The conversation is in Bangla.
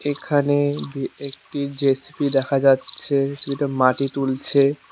এখানে এ-একটি জে_সি_বি দেখা যাচ্ছে যেটা মাটি তুলছে।